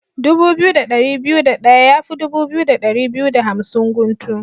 Dubu biyu da ɗari biyu da ɗaya yafi dubu biyu da ɗari biyu da hamsin guntu.